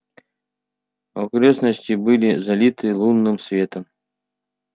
окрестности были залиты лунным светом